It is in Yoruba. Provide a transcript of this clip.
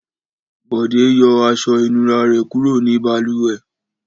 Bọ̀dé yọ aṣọ-ìnura rẹ̀ kúrò ní balùwẹ̀.